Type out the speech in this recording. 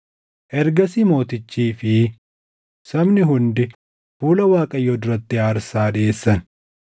Ergasii mootichii fi sabni hundi fuula Waaqayyoo duratti aarsaa dhiʼeessan.